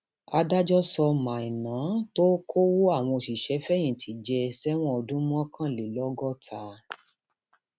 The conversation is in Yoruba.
adájọ sọ maina tó um kọwọ àwọn òṣìṣẹfẹyìntì jẹ sẹwọn ọdún mọkànlélọgọta um